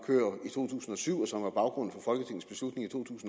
to tusind og syv og